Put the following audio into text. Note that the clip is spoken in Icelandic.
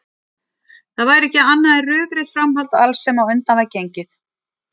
Það væri ekki annað en rökrétt framhald alls sem á undan var gengið.